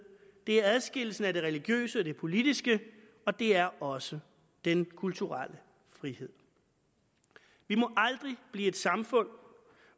det er adskillelsen af det religiøse og det politiske og det er også den kulturelle frihed vi må aldrig blive et samfund